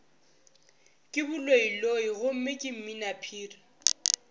ke baloiloi gomme ke mminaphiri